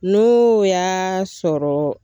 N'o y'a sɔrɔ